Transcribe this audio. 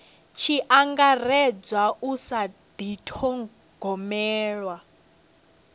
tshi angaredzwa u sa dithogomela